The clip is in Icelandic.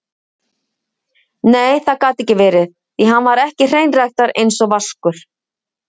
Nei, það gat ekki verið, því hann var ekki hreinræktaður einsog Vaskur.